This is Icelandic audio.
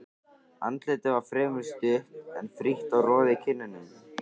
Andlitið var fremur stutt, en frítt og roði í kinnum.